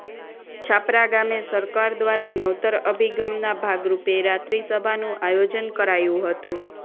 છાપરા ગામે સરકાર દ્વારા નવતર અભિગમના ભાગરૂપે રાત્રિ સભાનું આયોજન કરાયું હતંુ